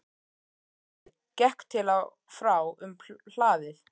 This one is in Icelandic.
Marteinn gekk til og frá um hlaðið.